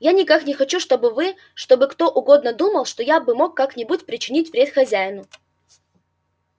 я никак не хочу чтобы вы чтобы кто угодно думал что я мог бы как-нибудь причинить вред хозяину